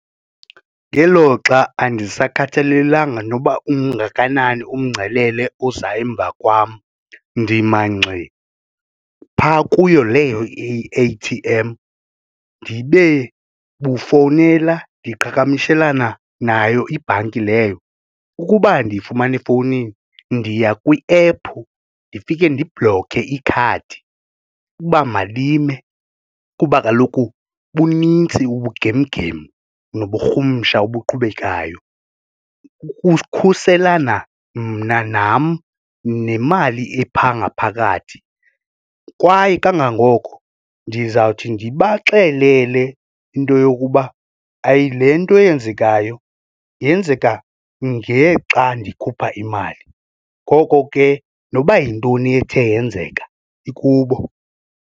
Ngeloxa andisakhathalelanga noba ungakanani umngcelele oza emva kwam ndima ngxi pha kuyo leyo i-A_T_M ndibe bufowunela ndiqhagamishelana nayo ibhanki leyo ukuba andiyifumani efowunini ndiya kwi-ephu ndifike ndiblokhe ikhadi uba malime kuba kaloku bunintsi ubugem-gem noburhumsha obuqhubekayo. Ukukhuselana mna nam nemali epha ngaphakathi kwaye kangangoko ndizawuthi ndibaxelele into yokuba hayi le nto yenzekayo yenzeka ngexa ndikhupha imali. Ngoko ke noba yintoni ethe yenzeka ikubo.